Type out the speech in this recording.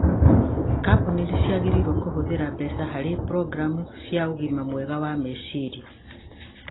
Kambuni nĩ ciagĩrĩirũo kũhũthĩra mbeca harĩ programu cia ũgima mwega wa meciria